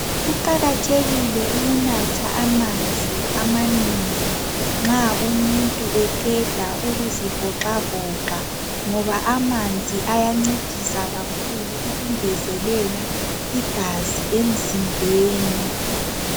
Kuqakathekile ukunatha amanzi amanengi nxa umuntu eqeda ukuzivoxavoxa ngoba amanzi ayancedisa kakhulu ukungezelela igazi emzimbeni